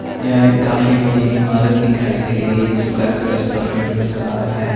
या एक काफी बड़ी इमारत दिखाई दे रही है जिसका कलर सफेद नज़र आ रहा है।